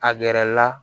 A gɛrɛ la